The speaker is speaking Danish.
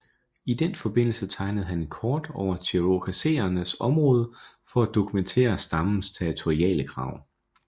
I den forbindelse tegnede han et kort over cherokesernes område for at dokumentere stammens territoriale krav